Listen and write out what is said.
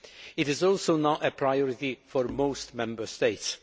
It is also now a priority for most Member States.